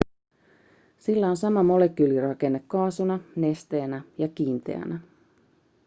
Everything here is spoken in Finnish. sillä on sama molekyylirakenne kaasuna nesteenä ja kiinteänä